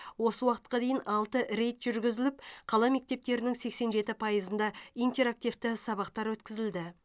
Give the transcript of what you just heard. осы уақытқа дейін алты рейд жүргізіліп қала мектептерінің сексен жеті пайызында интерактивті сабақтар өткізілді